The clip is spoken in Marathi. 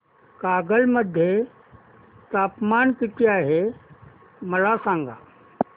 कागल मध्ये तापमान किती आहे मला सांगा